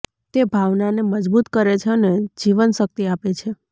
તે ભાવનાને મજબૂત કરે છે અને જીવનશક્તિ આપે છે